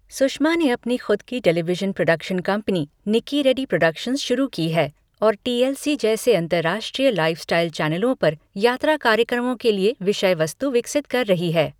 सुषमा ने अपनी खुद की television production company, Nikki Reddy productions शुरू की है और टी एल सी जैसे अंतर्राष्ट्रीय लाइफ़़स्टाइल चैनलों पर यात्रा कार्यक्रमों के लिए विषय वस्तु विकसित कर रही है।